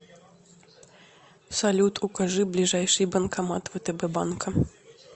салют укажи ближайший банкомат втб банка